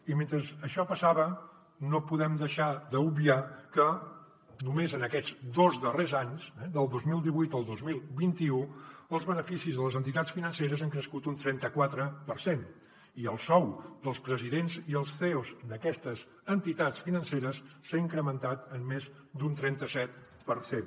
i mentre això passava no podem deixar d’obviar que només en aquests dos darrers anys eh del dos mil divuit al dos mil vint u els beneficis de les entitats financeres han crescut un trenta quatre per cent i el sou dels presidents i els ceos d’aquestes entitats financeres s’ha incrementat en més d’un trenta set per cent